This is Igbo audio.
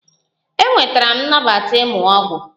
Enwetara m nnabata ịmụ ọgwụ